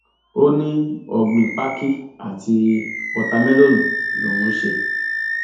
ó ní ọgbìn pákí àti wọta mélòónù lòún ń ṣe